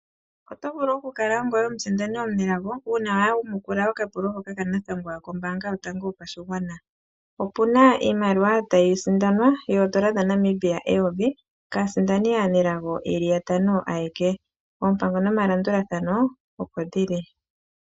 Oto vulu oku kala omusindani omunelago uuna wayamukula okapulo hoka kanathangwa kombaanga yotango yopashigwana, opuna iimaliwa tayi sindanwa oodolla dhaNamibia eyovi kaasindani aanelago yantano ayeke, oompango nomalandulathano opo dhili.